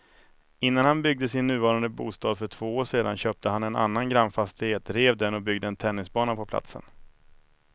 Innan han byggde sin nuvarande bostad för två år sedan köpte han en annan grannfastighet, rev den och byggde en tennisbana på platsen.